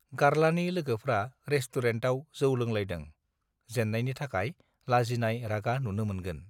गार्लानि लोगोफ्रा रेसतुरेनतआव जौ लोंलायदों जेत्रायनि थाखाय लाजिनाय रागा नुनो मोनगोन